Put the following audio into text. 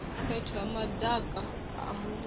fhethu ha madaka a muvhuso